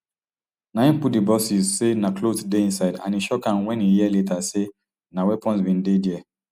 na im put di boces say na clothes dey inside and e shock am wen e hear later say na weapons bin dey dia